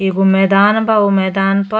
एगो मैदान बा। ऊ मैदान पर --